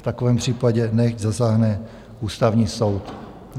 V takovém případě nechť zasáhne Ústavní soud.